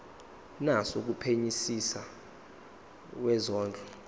naso kumphenyisisi wezondlo